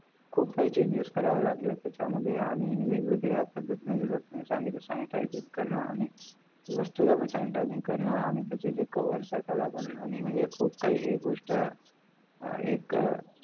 खुप काय changes कारावे लागले त्याचा मध्ये आणी वेग वेगळा पद्धतींनी सांगितलं sanitize करण आणि वस्तूला पण sanitize करण त्याची ते covers त्याला पण आणी खुप काही हे गोष्ट एक